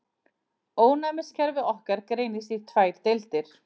Ónæmiskerfi okkar greinist í tvær deildir.